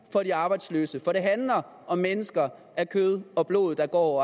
for de arbejdsløse for det handler om mennesker af kød og blod der går og